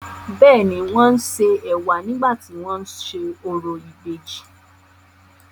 bẹ́ẹ̀ni, wọ́n ṣe ẹ̀wà nígbà tí wọ́n ń ṣe orò ìbejì.